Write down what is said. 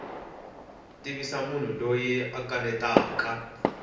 tivisa munhu loyi a kanetaka